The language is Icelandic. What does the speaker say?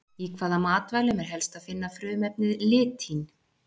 Í hvaða matvælum er helst að finna frumefnið litín?